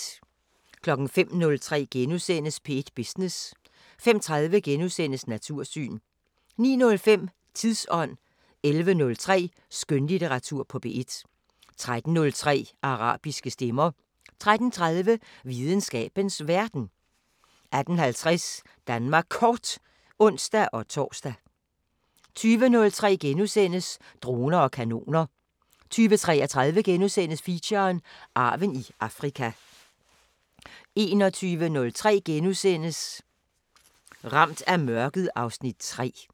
05:03: P1 Business * 05:30: Natursyn * 09:05: Tidsånd 11:03: Skønlitteratur på P1 13:03: Arabiske Stemmer 13:30: Videnskabens Verden 18:50: Danmark Kort (ons-tor) 20:03: Droner og kanoner * 20:33: Feature: Arven i Afrika * 21:03: Ramt af mørket (Afs. 3)*